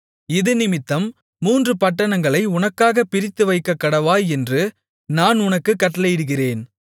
இதினிமித்தம் மூன்று பட்டணங்களை உனக்காகப் பிரித்துவைக்கக்கடவாய் என்று நான் உனக்குக் கட்டளையிடுகிறேன்